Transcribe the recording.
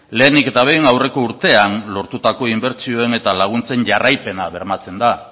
lehenik eta behin aurreko urtean lortutako inbertsioen eta laguntzen jarraipena bermatzen da